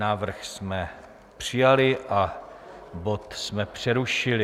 Návrh jsme přijali a bod jsme přerušili.